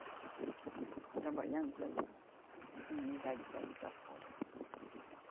Estava trabalhando para ir para para a comunidade, para ir para fora.